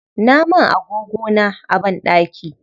Na man agogona a banɗaki.